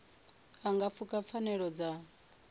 a nga pfuka pfanelo dza